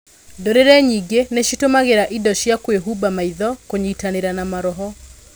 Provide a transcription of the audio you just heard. Ndũrĩrĩ nyĩngĩ nĩcitũmagĩra indo cia kwĩhumba maitho kũnyitanĩra na maroho.